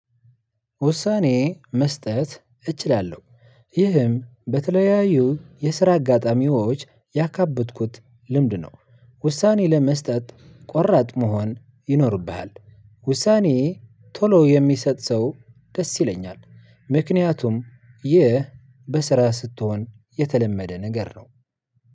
ውሳኔ መስጠት እችላለሁ ይህም በተለያዩ የስራ አጋጣሚዎች ያከበትኩት ልምድ ነው። ውሳኔ ለመስጠት ቆራጥ መሆን ይኖርብሃል። ውሳኔ ቶሎ የሚሰጥ ሰው ደስ ይለኛል። ምክንያቱም ይህ በስራ ስትሆን የተለመደ ነገር ነው።